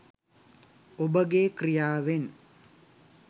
ඔබගේ ක්‍රියාවෙන්